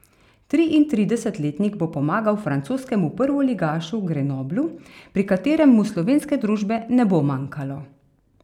Triintridesetletnik bo pomagal francoskemu prvoligašu Grenoblu, pri katerem mu slovenske družbe ne bo manjkalo.